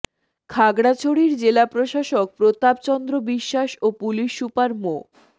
খাগড়াছড়ির জেলা প্রশাসক প্রতাপ চন্দ্র বিশ্বাস ও পুলিশ সুপার মো